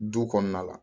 Du kɔnɔna la